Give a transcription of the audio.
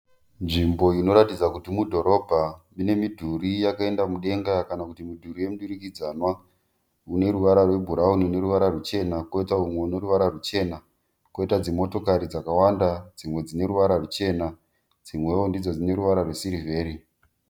Nzvimbo inoratidza kuti mudhorobha ine midhuri yakaenda mudenga kana midhuri yemidurikidzanwa ine ruvara rwebhurauni neruvara rwuchena, koita motokari dzakawanda dzine ruvavara rwuchena dzimwe dzine ruvara rwesirivheri.